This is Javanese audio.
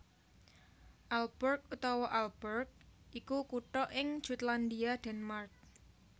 Aalborg utawa Ålborg iku kutha ing Jutlandia Denmark